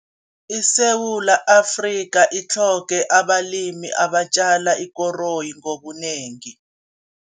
ISeewula Afrika itlhoge abalimi abatjala ikoroyi ngobunengi.